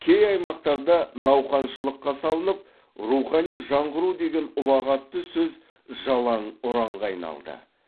кей аймақтарда науқаншылыққа салынып рухани жаңғыру деген ұлағатты сөз жалаң ұранға айналды